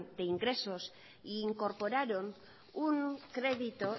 de ingresos e incorporaron un crédito